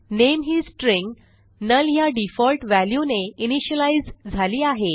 नामे ही string null ह्या default value ने इनिशियलाईज झाली आहे